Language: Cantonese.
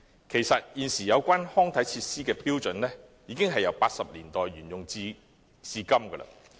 其實，有關康體設施的標準，已由1980年代沿用至今。